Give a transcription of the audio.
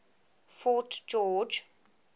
fort george